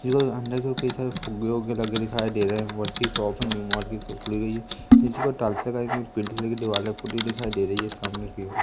कई सारे फुगे उग्गे लगे दिखाई दे रहे हैं मॉल कि शॉप है सामने कि ओर--